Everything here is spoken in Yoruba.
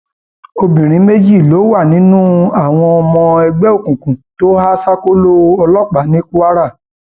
obìnrin méjì ló wà nínú àwọn ọmọ ẹgbẹ òkùnkùn tó há ṣákóló ọlọpàá ní kwara